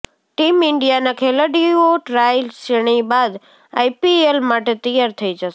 team ઈન્ડિયાના ખેલાડીઓ tri શ્રેણી બાદ આઈપીએલ માટે તૈયાર થઇ જશે